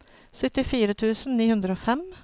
syttifire tusen ni hundre og fem